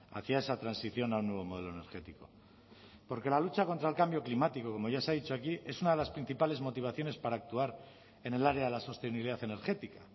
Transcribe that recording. hacia esa transición al nuevo modelo energético porque la lucha contra el cambio climático como ya se ha dicho aquí es una de las principales motivaciones para actuar en el área de la sostenibilidad energética